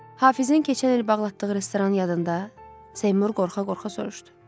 Hafizin keçən il bağlatdığı restoran yadında?